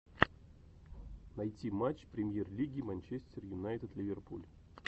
найти матч премьер лиги манчестер юнайтед ливерпуль